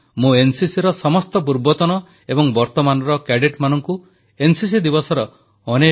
ସାଧାରଣତଃ ଆମର ଯୁବପିଢ଼ିଙ୍କୁ ଫ୍ରେଣ୍ଡସିପ ଡେ ଭଲଭାବେ ମନେଥାଏ କିନ୍ତୁ ଅନେକ ଲୋକ ଅଛନ୍ତି ଯେଉଁମାନଙ୍କୁ ଏନସିସି ଦିବସ ମଧ୍ୟ ସେତିକି ମନେଥାଏ